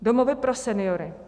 Domovy pro seniory.